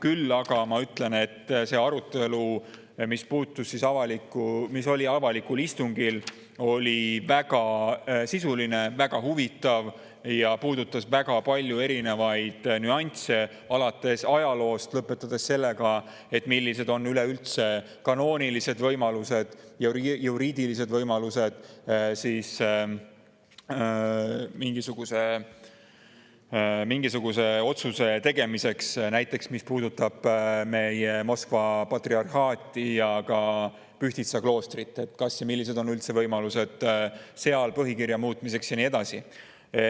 Küll aga ütlen, et see arutelu, mis oli avalikul istungil, oli väga sisuline, väga huvitav ja puudutas väga paljusid erinevaid nüansse, alates ajaloost ja lõpetades sellega, millised on üldse kanoonilised ja juriidilised võimalused mingisuguse otsuse tegemiseks, mis puudutab näiteks Moskva patriarhaati ja ka Pühtitsa kloostrit, kas üldse on võimalusi ja millised võimalused on seal põhikirja muutmiseks ja nii edasi.